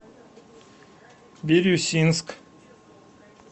бирюсинск